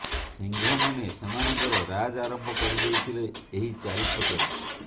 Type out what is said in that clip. ସିଂହ ମାନେ ସେମାନଙ୍କର ରାଜ୍ ଆରମ୍ଭ କରିଦେଇଥିଲେ ଏହି ଚାରି ଛକରେ